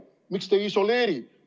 Miks te neid ei isoleeri?